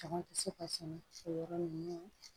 Caman tɛ se ka sɛnɛ o yɔrɔ ninnu na